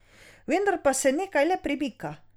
Vendar pa se nekaj le premika.